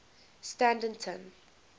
standerton